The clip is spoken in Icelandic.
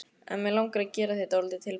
En mig langar að gera þér dálítið tilboð.